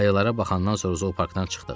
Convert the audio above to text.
Ayılara baxandan sonra zooparkdan çıxdıq.